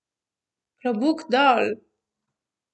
Klobuk dol!